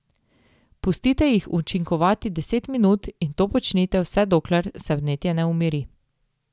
Pustite jih učinkovati deset minut in to počnite vse dokler se vnetje ne umiri.